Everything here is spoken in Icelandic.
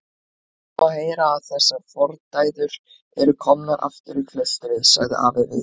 Það má heyra að þessar fordæður eru komnar aftur í klaustrið, sagði afi við